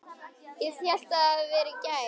Ég hélt það hefði verið í gær.